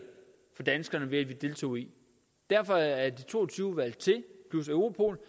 for danskerne at vi deltog i derfor er de to og tyve plus europol